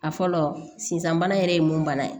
A fɔlɔ sisan bana yɛrɛ ye mun bana ye